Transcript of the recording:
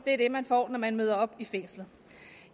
er det man får når man møder op i fængslet